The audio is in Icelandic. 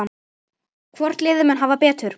Hvort liðið mun hafa betur?